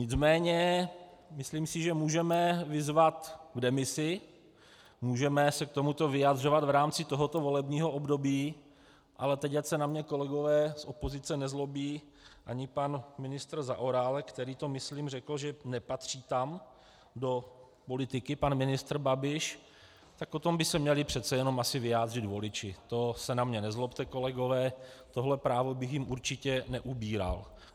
Nicméně myslím si, že můžeme vyzvat k demisi, můžeme se k tomuto vyjadřovat v rámci tohoto volebního období, ale teď ať se na mě kolegové z opozice nezlobí, ani pan ministr Zaorálek, který to myslím řekl, že nepatří tam do politiky pan ministr Babiš, tak o tom by se měli přece jenom asi vyjádřit voliči, to se na mě nezlobte, kolegové, tohle právo bych jim určitě neubíral.